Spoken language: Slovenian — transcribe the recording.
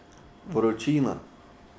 Vročina.